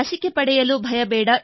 ಲಸಿಕೆ ಪಡೆಯಲು ಭಯಬೇಡ